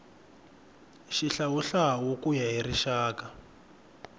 xihlawuhlawu ku ya hi rixaka